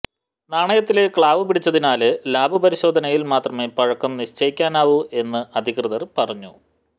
നാണയത്തില് ക്ലാവ് പിടിച്ചതിനാല് ലാബ് പരിശോധനയില് മാത്രമേ പഴക്കം നിശ്ചയിക്കാനാവൂ എന്ന് അധികൃതര് പറഞ്ഞു